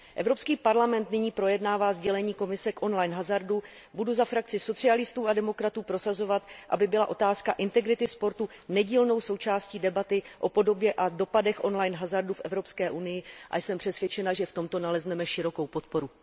Evropský parlament nyní projednává sdělení Komise k on line hazardu, budu za frakci socialistů a demokratů prosazovat, aby byla otázka integrity sportu nedílnou součástí debaty o podobě a dopadech on line hazardu v Evropské unii a jsem přesvědčena, že v tomto nalezneme širokou podporu.